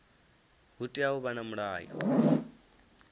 hu tea u vha na mulayo